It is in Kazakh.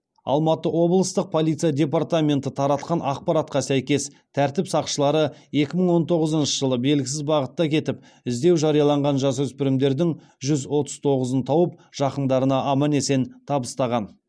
алматы облыстық полиция департаменті таратқан ақпаратқа сәйкес тәртіп сақшылары екі мың он тоғызыншы жылы белгісіз бағытта кетіп іздеу жарияланған жасөспірімдердің жүз отыз тоғызын тауып жақындарына аман есен табыстаған